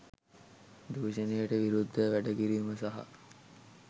දුෂණයට විරුද්ධව වැඩ කිරීම සහ